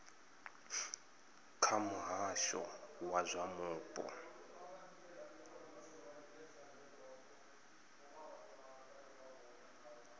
kha muhasho wa zwa mupo